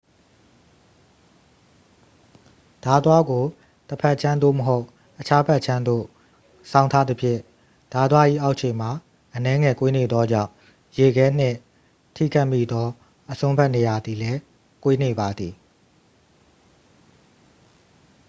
ဓားသွားကို တစ်ဖက်ခြမ်း သို့မဟုတ် အခြားဖက်ခြမ်းသို့ စောင်းထားသဖြင့် ဓားသွား၏အောက်ခြေမှာ အနည်းငယ်ကွေးနေသောကြောင့် ရေခဲနှင့်ထိခတ်မိသောအစွန်းဘက်နေရာသည်လည်း ကွေးနေပါသည်